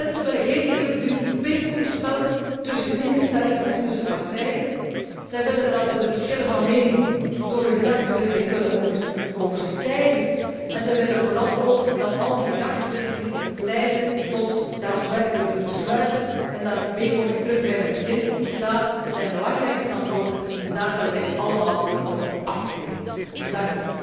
Mensen willen geen eeuwigdurend pingpongspel tussen instellingen of partijen, zij willen dat we de verschillen van mening door een gedachtewisseling kunnen overstijgen en zij willen vooral ook dat al die gedachtewisselingen leiden tot daadwerkelijke besluiten. En daarmee kom ik terug bij mijn begin daden zijn belangrijker dan woorden en daar zullen wij allemaal op afgerekend worden.